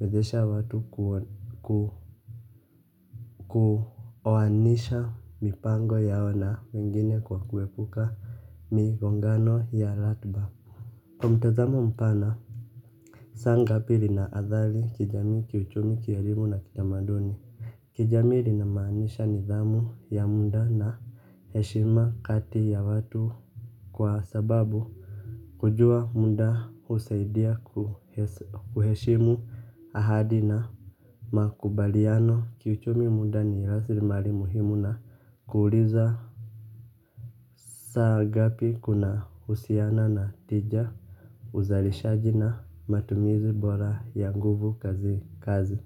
wezesha watu kuoanisha mipango yao na wengine kwa kuepuka migongano ya ratiba kwa mtazamo mpana saa ngapi lina athari kijamii kiuchumi kielimu na kitamaduni. Kijami linamaanisha nidhamu ya muda na heshima kati ya watu. Kwa sababu kujua muda husaidia kuheshimu ahadi na makubaliano kiuchumi muda ni rasilimali muhimu na kuuliza saa ngapi kunahusiana na tija uzalishaji matumizi bora ya muda kazini kazi.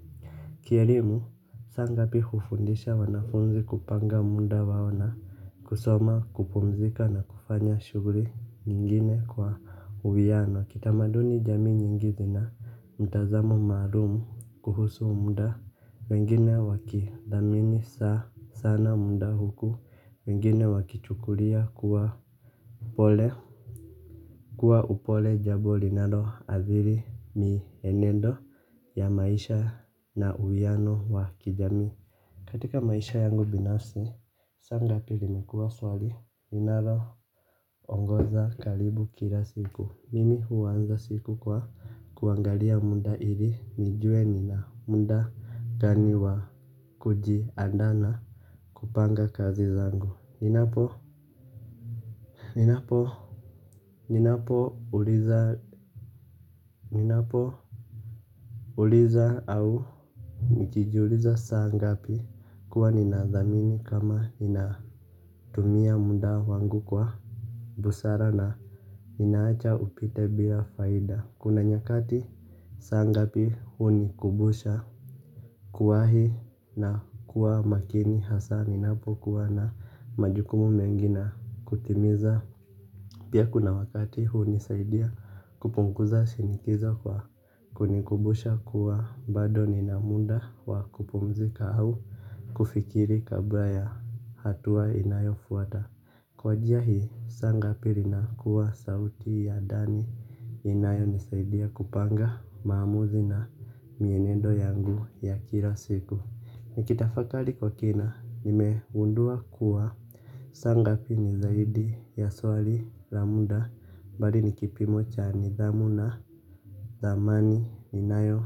Kielimu saa ngapi hufundisha wanafunzi kupanga muda wao na kusoma kupumzika na kufanya shughuli nyingine kwa uwiano. Kitamaduni jamii nyingi zina mtazamo maalumu kuhusu muda wengine wakithamini saa sana muda huku wengine wakichukulia kuwa upole. Kuwa upole jambo linalo athiri mienendo ya maisha na uwiano wa kijamii. Katika maisha yangu binafsi, saa ngapi limekuwa swali linalo ongoza karibu kila siku. Mimi huanza siku kwa kuangalia muda ili nijue nina muda gani wa kujiandaa na kupanga kazi zangu. Ninapo Ninapo Ninapo uliza Ninapo Uliza au nikijiuliza saa ngapi kuwa ninathamini kama inatumia muda wangu kwa busara na ninaacha upite bila faida. Kuna nyakati saa ngapi huni kumbusha kuwahi na kuwa makini hasa ninapokuwa na majukumu mengi na kutimiza. Pia kuna wakati huni saidia kupunguza shinikizo kwa kunikumbusha kuwa bado nina muda wa kupumzika au kufikiri kabla ya hatua inayofuata. Kwa njia hii saa ngapi linakuwa sauti ya ndani. Inayo nisaidia kupanga maamuzi na mienendo yangu ya kila siku. Nikitafakari kwa kina, nimegundua kuwa saa ngapi ni zaidi ya swali la munda bali ni kipimo cha nidhamu na thamani. Inayo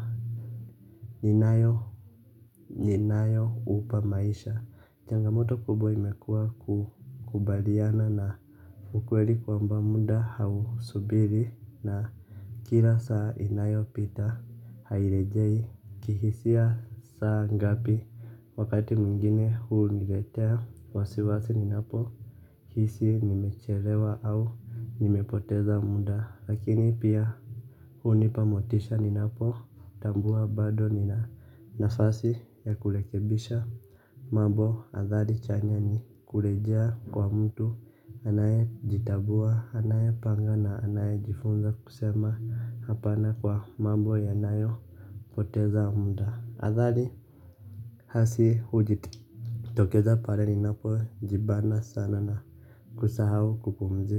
ninayo upa maisha changamoto kubwa imekuwa kubaliana na ukweli kwamba muda hausubiri. Na kila saa inayopita hairejei kihisia saa ngapi wakati mwingine huniletea wasiwasi ninapo hisi nimechelewa au nimepoteza muda lakini pia hunipa motisha ninapo tambua bado nina nafasi ya kurekebisha. Mambo athari chanya ni kurejea kwa mtu anaye jitambua anayepanga na anaye jifunza kusema hapana kwa mambo yanayo poteza muda athari hasi hujitokeza pale ninapo jibana sana na kusahau kupumzika.